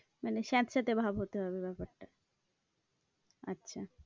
মানে স্যাঁতস্যাতে ভাব হতে হবে ব্যাপারটা আচ্ছা।